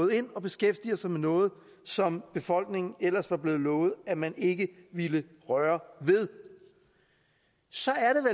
ind og beskæftiger sig med noget som befolkningen ellers var blevet lovet at man ikke ville røre ved så